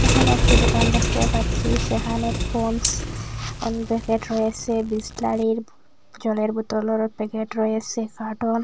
এখানে একটি দোকান দেখতে পাচ্ছি সেখানে পন্ডস আন প্যাকেট রয়েসে বিসলারির জলের বোতলরও প্যাকেট রয়েসে কার্টন হ--